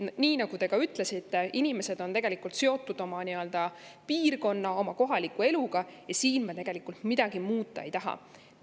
Nii nagu te ka ütlesite, inimesed on seotud oma piirkonnaga, kohaliku eluga, ja siin me midagi muuta ei taha.